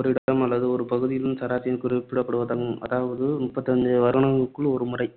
ஓரிடம் அல்லது ஒரு பகுதியின் சராசரியைக் குறிப்பிடுவதாகும். அதாவது முப்பத்து ஐந்து வருடங்களுக்கு ஒரு முறை